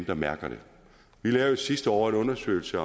der mærker det vi lavede sidste år en undersøgelse